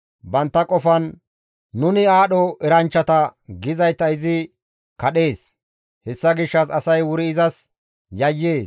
Bantta qofan, ‹Nuni aadho eranchchata› gizayta izi kadhees; hessa gishshas asay wuri izas yayyees.»